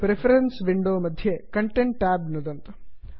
preference window मध्ये content connect tab नुदन्तु